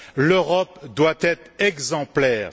L'Europe doit être exemplaire.